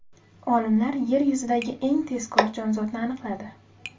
Olimlar Yer yuzidagi eng tezkor jonzotni aniqladi.